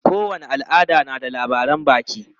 Kowane al'ada na da labaran baki.